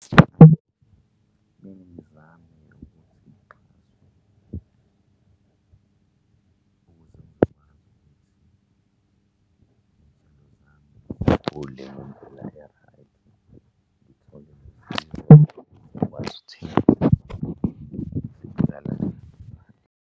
Kumele ngizame nokuthi ukuze ngizokwazi ukuthi izithelo zami zikhule ngendlela e-right, ngithole